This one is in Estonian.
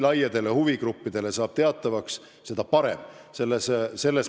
See peab saama selgeks laiadele huvigruppidele.